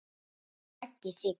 Raggi Sig.